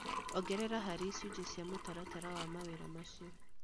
Ongerera harĩ icunjĩ cia mũtaratara wa mawĩra macio